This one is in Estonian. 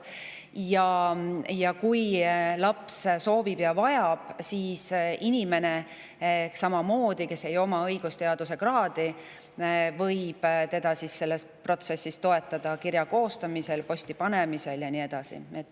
Ja kui laps seda soovib ja vajab, võib inimene, kellel ei ole õigusteaduse kraadi, teda samamoodi selles protsessis toetada: näiteks kirja koostamisel, selle posti panemisel ja nii edasi.